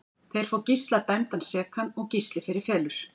Þeir fá Gísla dæmdan sekan og Gísli fer í felur.